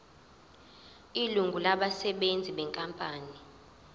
ilungu labasebenzi benkampani